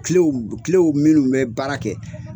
Kilew kilew minnu bɛ baara kɛ;